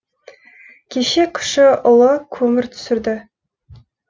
кеше кіші ұлы көмір түсірді